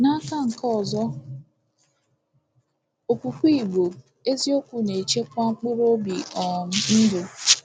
N’aka nke ọzọ, okwukwe Igbo eziokwu “na-echekwa mkpụrụobi um ndụ.”